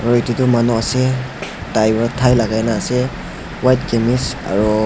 Aro etu tuh manu ase tai para tie lagaina ase white kemish aro--